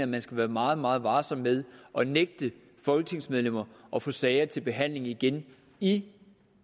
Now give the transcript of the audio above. man skal være meget meget varsom med at nægte folketingsmedlemmer at få sager til behandling igen i